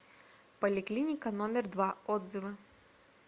поликлиника номер два отзывы